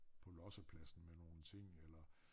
På lossepladsen med nogle ting eller